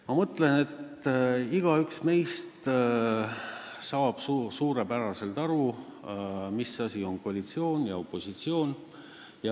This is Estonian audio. Ma arvan, et igaüks meist saab suurepäraselt aru, mis asi on koalitsioon ja mis asi on opositsioon.